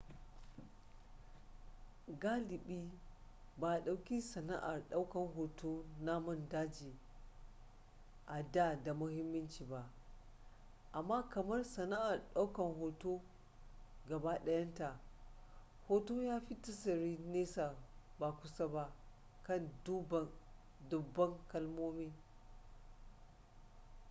galibi ba a dauki sana'ar daukar hoton namun daji a da muhimmanci ba amma kamar sana'ar daukar hoton gaba dayanta hoto ya fi tasiri nesa ba kusa ba kan dubban kalmomi